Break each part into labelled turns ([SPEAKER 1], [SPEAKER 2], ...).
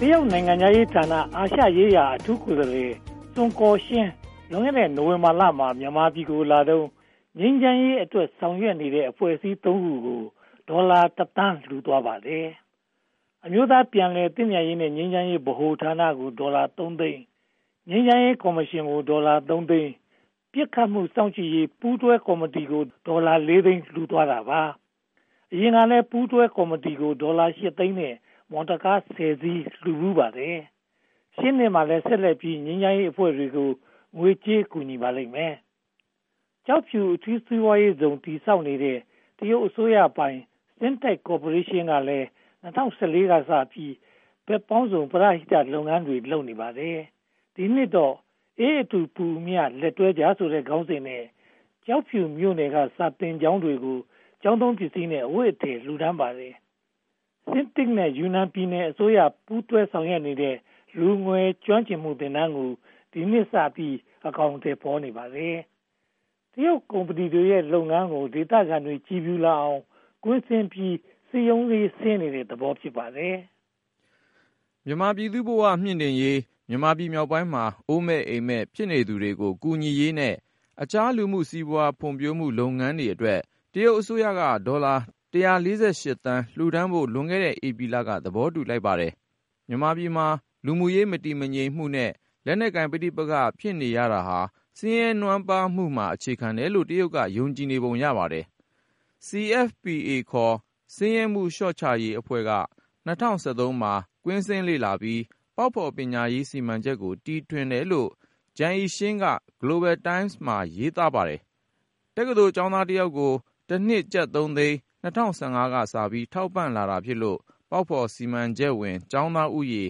[SPEAKER 1] တရုတ်နိုင်ငံခြားရေးဌာန၊ အာရှရေးရာအထူးကိုယ်စားလှယ် စွန်ကော်ရှင်း လွန်ခဲ့တဲ့ နိုဝင်ဘာလမှာ မြန်မာပြည်ကိုလာတုန်း ငြိမ်းချမ်းရေးအတွက် ဆောင်ရွက်နေတဲ့ အဖွဲ့အစည်း (၃) ဖွဲ့ကို ဒေါ်လာ (၁) သန်း လှူဒါန်းသွားပါတယ်။ အမျိုးသားပြန်လည်သင့်မြတ်ရေးနဲ့ ငြိမ်းချမ်းရေးဗဟိုဌာနကို ဒေါ်လာ (၃) သိန်း၊ ငြိမ်းချမ်းရေးကော်မရှင်ကို ဒေါ်လာ (၃) သိန်း၊ ပစ်ခတ်မှုစောင့်ကြည့်ရေး ပူးတွဲကော်မတီကို ဒေါ်လာ (၄) သိန်း လှူဒါန်းသွားပါတယ်။ အရင်ကလည်း ပူးတွဲကော်မတီကို ဒေါ်လာ (၈) သိန်းနဲ့ မော်တော်ကား (၁၀) စီး လှူဖူးပါတယ်။ ရှေ့နှစ်မှာလည်း ဆက်လက်ပြီး ငြိမ်းချမ်းရေးအဖွဲ့တွေကို ငွေကြေးကူညီပါလိမ့်မယ်။ ကျောက်ဖြူအထူးစီးပွားရေးဇုန် တည်ဆောက်နေတဲ့ တရုတ်အစိုးရပိုင် CITIC ကော်ပိုရေးရှင်းကလည်း (၂၀၁၄) ကစပြီး ဘက်ပေါင်းစုံ ပရဟိတလုပ်ငန်းတွေ လုပ်နေပါတယ်။ ဒီနှစ်တော့ 'အေးအတူ ပူအမျှ လက်တွဲကြ' ဆိုတဲ့ ခေါင်းစဉ်နဲ့ ကျောက်ဖြူမြို့နယ် စာသင်ကျောင်းတွေကို ကျောင်းသုံးပစ္စည်းနဲ့ အဝတ်အထည်တွေ လှူဒါန်းပါတယ်။ CITIC နဲ့ ယူနန်ပြည်နယ်အစိုးရ ပူးတွဲဆောင်ရွက်နေတဲ့ လူငယ်ကျွမ်းကျင်မှုသင်တန်းကို ဒီနှစ်ကစပြီး အကောင်အထည်ဖော်နေပါတယ်။ တရုတ်ကုမ္ပဏီရဲ့ လုပ်ငန်းတွေကို ဒေသခံတွေ ကြည်ဖြူလာအောင် ကွင်းဆင်းပြီး စည်းရုံးတဲ့သဘော ဖြစ်ပါတယ်
[SPEAKER 2] ။ မြန်မာပြည်သူ့ဘဝမြှင်တင့်ရေး၊ မြန်မာပြည်မြောက်ပိုင်းမှာ အိုးမဲ့အိမ်မဲံ ဖြစ်နေသူတွေကို ကူညီရေးနဲ့ အခြားလူမှုစီးပွားရေး ဖွံ့ဖြိုးရေးလုပ်ငန်းတွေအတွက် တရုတ်အစိုးရက ဒေါ်လာ (၁၄၈) သန်း လှူဒါန်းဖို့ လွန်ခဲ့တဲ့ ဧပြီလက သဘောတူလိုက်ပါတယ်။ မြန်မာပြည်မှာ လူမှုရေးမတည်မငြိမ်နဲ့ လက်နက်ကိုင်ပဋိပက္ခ ဖြစ်ရတာဟာ ဆင်းရဲနွမ်းပါးမှုမှာ အခြေခံတယ်လို့ တရုတ်က ယုံကြည်ပုံရပါတယ်။ CFPA ခေါ် ဆင်းရဲမှုလျော့ချရေးအဖွဲ့ (China Foundation for Poverty Alleviation) က (၂၀၁၃) မှာ ကွင်းဆင်းလေ့လာပြီး ပေါက်ဖော်ပညာရေး စီမံချက်ကို တီထွင်တယ်လို့ ဂျန်အိရှင်း (Zhang Yiqian) က Global Times မှာ ရေးသားထားပါတယ်။ တက္ကသိုလ်ကျောင်းသားတယောက်ကို တနှစ်ကျပ်သုံးသိန်း ၂၀၁၅ ကစပြီး ထောက်ပံ့လာတာဖြစ်လို့ ပေါက်ဖော်စီမံချက်ဝင် ကျောင်းသားဦးရေ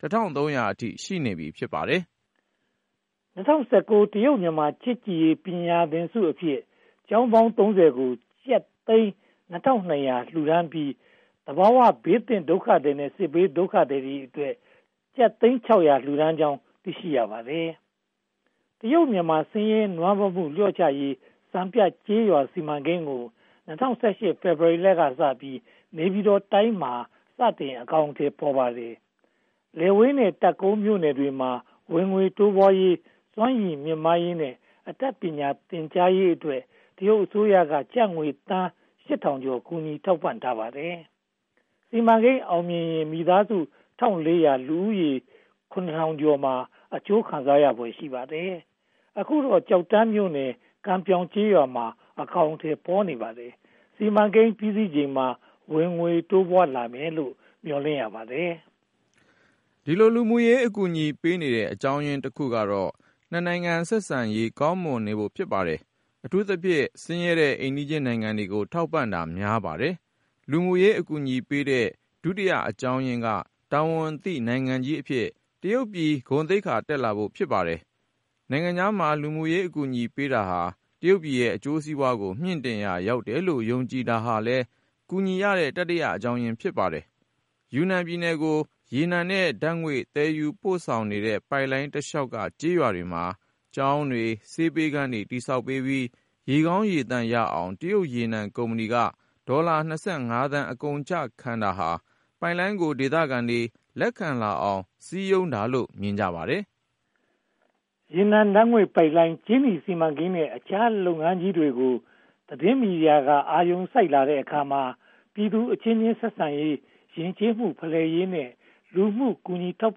[SPEAKER 2] (၁၃၀၀) အထိ ရှိနေပြီ ဖြစ်ပါတယ်။
[SPEAKER 1] (၂၀၁၉) တရုတ်-မြန်မာ ချစ်ကြည်ရေးပညာသင်ဆုအဖြစ် ကျောင်းပေါင်း (၃၀) ကို ကျပ်သိန်း (၂၂၀၀) လှူဒါန်းပြီး သဘာဝဘေးသင့်ဒုက္ခသည်နဲ့ စစ်ဘေးဒုက္ခသည်အတွက် ကျပ်သိန်း (၆၀၀) လှူဒါန်းကြောင်း သိရှိရပါတယ်။ တရုတ်-မြန်မာ ဆင်းရဲနွမ်းပါးမှု လျှော့ချရေးစီမံကိန်းကို ၂၀၁၈ ဖေဖေါ်ဝါရီလကစပြီး နေပြည်တော်တိုင်းမှာ စတင်အကောင်အထည်ဖော်ပါတယ်။ လယ်ဝေးနဲ့ တပ်ကုန်းမြို့နယ်တွေမှာ ဝင်ငွေတိုးပွားရေး၊ စွမ်းရည်မြှင့်မားရေးနဲ့ အတတ်ပညာသင်ကြားရေးအတွက် တရုတ်အစိုးရက ကျပ်ငွေသန်း (၈၀၀၀) ကျော် ကူညီထောက်ပံ့ထားပါတယ်။ စီမံကိန်းအောင်မြင်ရင် မိသားစု (၁၄၀၀) လူဦးရေ (၇၀၀၀) ကျော် အကျိုးခံစားရဖွယ် ရှိပါတယ်။ အခုတော့ ကျောက်တန်းမြို့နယ် ကန်ပြောက်ကျေးရွာမှာ အကောင်အထည် ဖော်နေပါတယ်။ စီမံကိန်းပြီးစီးချိန်မှာ ဝင်ငွေတိုးပွားလာမယ်လို့ မျှော်လင့်ရပါတယ်
[SPEAKER 2] ။ ဒီလို လူမှုရေးအကူအညီပေးနေတဲ့ အကြောင်းရင်းတခုကတော့ (၂) နိုင်ငံ ဆက်ဆံရေး ကောင်းမွန်နေဖို့ ဖြစ်ပါတယ်။ အထူးသဖြင့် ဆင်းရဲတဲ့ အိမ်နီးနားချင်းနိုင်ငံတွေကို ထောက်ပံ့တာများပါတယ်။ လူမှုရေးအကူအညီပေးတဲ့ ဒုတိယအကြောင်းရင်းက တာဝန်သိနိုင်ငံကြီးအဖြစ် တရုတ်ပြည် သိက္ခာတက်လာဖို့ ဖြစ်ပါတယ်။ နိုင်ငံခြားမှာ လူမှုရေးအကူအညီပေးတာဟာ တရုတ်ပြည်ရဲ့ အကျိုးစီးပွားကို မြှင့်တင်ရာ ရောက်တယ်လို့ ယုံကြည်တာဟာလည်း ကူညီရတဲ့ တတိယအကြောင်းရင်း ဖြစ်ပါတယ်။ ယူနန်ပြည်နယ်ကို ရေနံနဲ့ဓါတ်ငွေ့ သယ်ယူပို့ဆောင်နေတဲ့ ပိုက်လိုင်းတလျှောက်က ကျေးရွာတွေမှာ ကျောင်းတွေ၊ ဆေးပေးခန်းတွေ တည်ဆောက်ပြီး ရေကောင်းရေသန့်ရအောင် တရုတ်ရေနံကုမ္ပဏီက ဒေါ်လာ (၂၅) သန်း အကုန်အကျခံတာဟာ ပိုက်လိုင်းကို ဒေသခံတွေ လက်ခံလာအောင် စည်းရုံးတာလို့ မြင်ကြပါတယ်။
[SPEAKER 1] ရေနံဓါတ်ငွေ့ပိုက်လိုင်း၊ ကြေးနီစီမံကိန်းနဲ့ အခြားလုပ်ငန်းကြီးတွေကို သတင်းမီဒီယာတွေက အာရုံစိုက်လာတဲ့အခါမှာ ပြည်သူအချင်းချင်းဆက်ဆံရေး၊ ယဉ်ကျေးမှုဖလှယ်ရေးနဲ့ လူမှုကူညီထောက်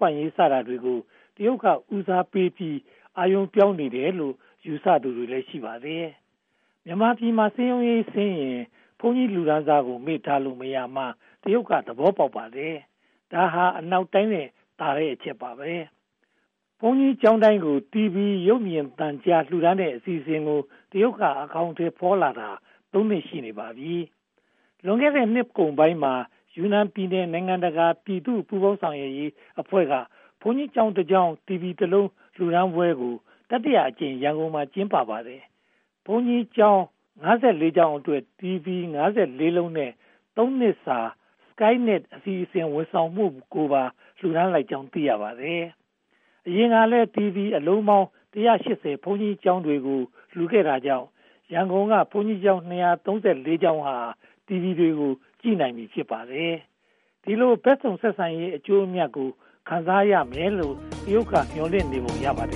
[SPEAKER 1] ပံ့ရေး စတာတွေကို တရုတ်က ဦးစားပေးပြီး အာရုံပြောင်းနေတယ်လို့ ယူဆသူတွေလည်း ရှိပါတယ်။ မြန်မာပြည်မှာ စည်းရုံးရေးဆင်းရင် ဘုန်းကြီးလူတန်းစာကို မေ့ထားလို့မရကြောင်း တရုတ်သဘောပေါက်ပါတယ်။ ဒါဟာ အနောက်တိုင်းထက်သာတဲ့ အချက်ပါ။ ဘုန်းကြီးကျောင်းတိုင်းကို တီဗွီရုပ်မြင်သံကြား လှူဒါန်းတဲ့ အစီအစဉ်ကို တရုတ်က အကောင်အထည်ဖော်လာတာ သုံးနှစ် ရှိနေပါပြီ။ လွန်ခဲ့တဲ့ နှစ်ကုန်ပိုင်းမှာ ယူနန်ပြည်နယ် နိုင်ငံတကာ ပြည်သူ့ပူးပေါင်းဆောင်ရွက်ရေးအဖွဲ့က ဘုန်းကြီးကျောင်း (၁) ကျောင်း တီဗီ (၁) လုံး လှူဒါန်းပွဲကို တတိယအကြိမ် ရန်ကုန်မြို့မှာ ကျင်းပပါတယ်။ ဘုန်းကြီးကျောင်း (၅၄) ကျောင်းအတွက် တီဗွီ (၅၄) လုံးနဲ့ သုံးနှစ်စာ SkyNet အစီအစဉ် ဝန်ဆောင်မှုကိုပါ ပူးတွဲလှူဒါန်းလိုက်ကြောင်း သိရပါတယ်။ အရင်ကလည်း တီဗွီအလုံးပေါင်း (၁၈၀) ဘုန်းကြီးကျောင်းတွေကို လှူခဲ့တာကြောင့် ရန်ကုန်က ဘုန်းကြီးကျောင်း (၂၃၄) ကျောင်းတွေဟာ တီဗွီ ကြည့်နိုင်ပြီး ဖြစ်ပါတယ်။ ဒီလို ဘက်စုံဆက်ဆံရေးရဲ့ အကျိုးအမြတ်ကို ခံစားရလိမ့်မယ်လို့ တရုတ်က မျှော်လင့်နေပုံရပါတယ